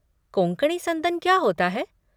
कोंकणी संदन क्या होता है?